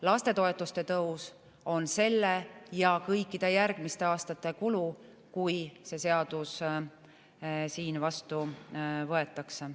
Lastetoetuste tõus on selle ja kõikide järgmiste aastate kulu, kui see seadus siin vastu võetakse.